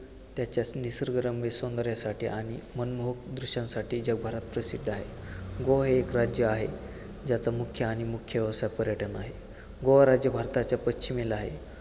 त्याच्या निसर्गरम्य सौंदर्यासाठी आणि मनमोहक दृश्यांसाठी जगभरात प्रसिद्ध आहे. गोवा हे एक राज्य आहे, ज्याचा मुख्य आणि मुख्य व्यवसाय पर्यटन आहे. गोवा राज्य भारताच्या पश्चिमेला आहे.